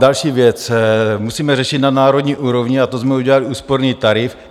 Další věc musíme řešit na národní úrovni a to jsme udělali úsporný tarif.